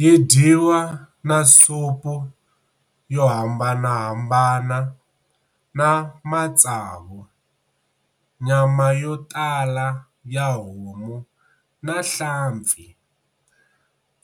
Yi dyiwa na supu yohambanahambana na matsavu, nyama yotala ya homu na nhlampfi.